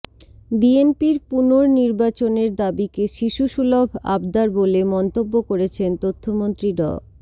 বিএনপির পুনর্নির্বাচনের দাবিকে শিশুসুলভ আবদার বলে মন্তব্য করেছেন তথ্যমন্ত্রী ড